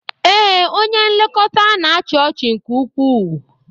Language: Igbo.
Ee, onye nlekọta na-achị ọchị nke ukwuu.